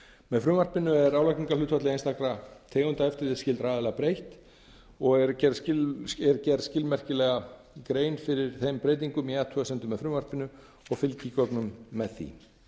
með frumvarpinu er álagningarhlutfalli einstakra tegunda eftirlitsskyldra aðila breytt og er gerð skilmerkilega grein fyrir þeim breytingum í athugasemdum með frumvarpinu og fylgigögnum með því